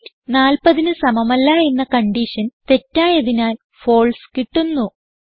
weight 40ന് സമമല്ല എന്ന കൺഡിഷൻ തെറ്റായതിനാൽ ഫാൽസെ കിട്ടുന്നു